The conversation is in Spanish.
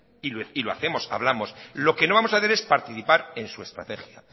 y lo hacemos hablamos lo que no vamos hacer es participar en su estrategia